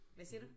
Hvad siger du